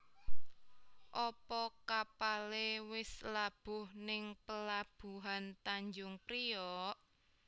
Opo kapale wis labuh ning pelabuhan Tanjung Priok?